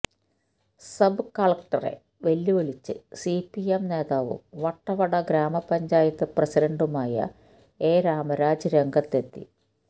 sub കളക്ടറെ വെല്ലുവിളിച്ച് CPM നേതാവും വട്ടവട ഗ്രാമപഞ്ചായത്ത് പ്രസിഡന്റുമായ എ രാമരാജ് രംഗത്തെത്തി